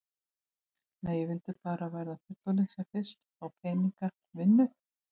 Nei, ég vildi bara verða fullorðin sem fyrst, fá peninga, vinnu.